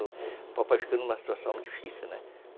O papai ficou numa situação difícil, né?